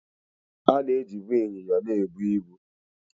A na ejibụ ịnyịnya na-ebụ ịbu